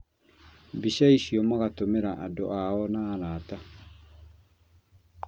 Mbica icio magatũmĩra andũ ao na arata